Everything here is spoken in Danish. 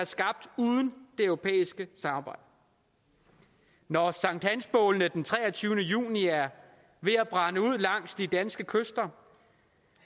skabt uden det europæiske samarbejde når sankthansbålene den treogtyvende juni er ved at brænde ud langs de danske kyster